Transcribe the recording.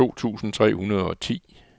to tusind tre hundrede og ti